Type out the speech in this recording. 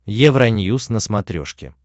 евроньюс на смотрешке